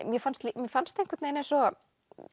mér fannst mér fannst eins og